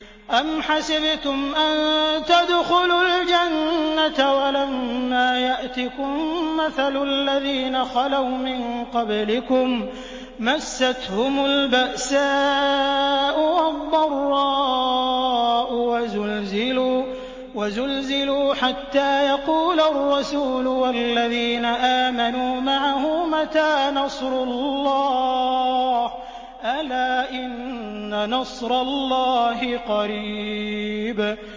أَمْ حَسِبْتُمْ أَن تَدْخُلُوا الْجَنَّةَ وَلَمَّا يَأْتِكُم مَّثَلُ الَّذِينَ خَلَوْا مِن قَبْلِكُم ۖ مَّسَّتْهُمُ الْبَأْسَاءُ وَالضَّرَّاءُ وَزُلْزِلُوا حَتَّىٰ يَقُولَ الرَّسُولُ وَالَّذِينَ آمَنُوا مَعَهُ مَتَىٰ نَصْرُ اللَّهِ ۗ أَلَا إِنَّ نَصْرَ اللَّهِ قَرِيبٌ